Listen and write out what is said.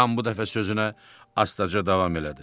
Yan bu dəfə sözünə astaca davam elədi.